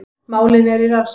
Málin eru í rannsókn